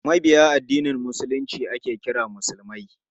Mabiya addinin Musulunci ake kira musulmai.